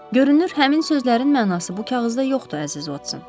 Görünür həmin sözlərin mənası bu kağızda yoxdur, əziz Uotson.